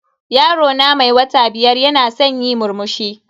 Yaro na mai wata biyar yana san yi murmushi.